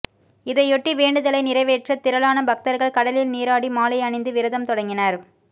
இதையொட்டி வேண்டுதலை நிறைவேற்ற திரளான பக்தர்கள் கடலில் நீராடி மாலை அணிந்து விரதம் தொடங்கினர்